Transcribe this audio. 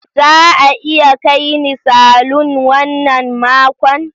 Za a iya kai ni salon wannan makon?